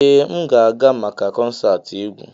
Ee m ga-aga maka konserti egwu.